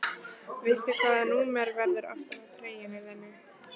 Veistu hvaða númer verður aftan á treyjunni þinni?